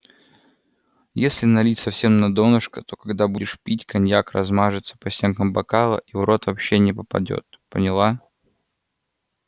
если налить совсем на донышко то когда будешь пить коньяк размажется по стенкам бокала и в рот вообще не попадёт поняла